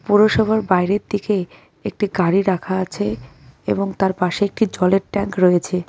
পুরসভার বাইরের দিকে একটি গাড়ি রাখা আছে এবং তার পাশে একটি জলের ট্যাঙ্ক রয়েছে.